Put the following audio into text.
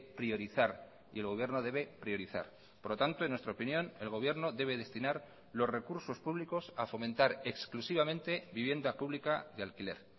priorizar y el gobierno debe priorizar por lo tanto en nuestra opinión el gobierno debe destinar los recursos públicos a fomentar exclusivamente vivienda pública de alquiler